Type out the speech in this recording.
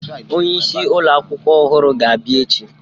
Onye isi ụlọ akwụkwọ ọhụrụ ga-abịa echi